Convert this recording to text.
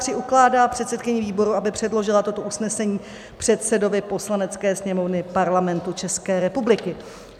III. ukládá předsedkyni výboru, aby předložila toto usnesení předsedovi Poslanecké sněmovny Parlamentu České republiky.